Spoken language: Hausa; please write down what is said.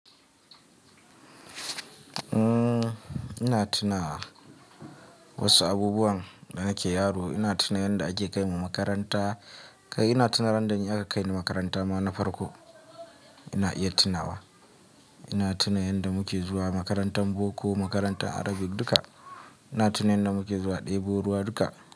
Ina tunawa wasu abubuwan da nake yaro. Ina tuna yanda ake kaimu makaranta. Kai ina tuna ran da aka kaini makaranta ma na farko. Ina iya tunawa. Ina tuna yanda muke zuwa makarantar boko, makarantar Arabic duka. Ina tuna yanda muke zuwa ɗebo ruwa duka.